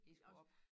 Det skulle op